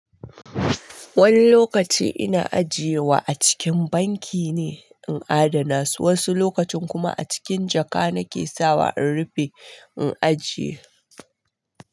Wani lokaci ina ajiye wa a cikin banki ne in adana su, wasu lokacin kuma a cikin jaka nake sawa in rufe in ajiye.